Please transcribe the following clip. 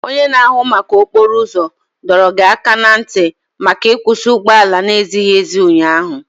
Onye na-ahụ maka okporo ụzọ dọrọ gị aka ná ntị maka ịkwusi ụgbọala na-ezighị ezi ụnyaahụ.